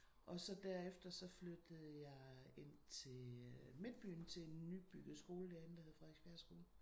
Og så derefter så flyttede jeg ind til midtbyen til en nybygget skole derinde der hed Frederiksbjerg skole